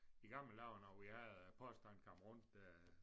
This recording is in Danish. I gamle dage når vi havde æ post han kom rundt der